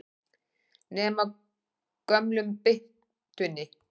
Nema gömlu byttunni.